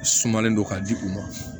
Sumalen don ka di u ma